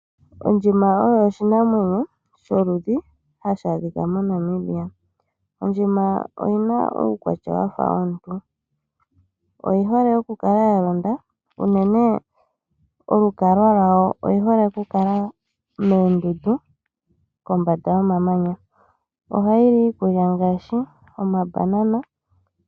Ondjima oyo oshinamwenyo sholudhi hashi adhika moNamibia . Ondjima oyina uukwatya wafa womuntu . Oyi hole okukala yalonda. Unene olukalwa lwayo oyi hole okukala moondundu, kombanda yomamanya . Ohayi li iikulya ngaashi omambanana.